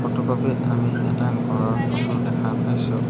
Photocopy ত আমি এটা ঘৰৰ ফটো দেখা পাইছোঁ।